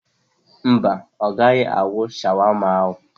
Mba, o gaghị ahụ shawama ahụ.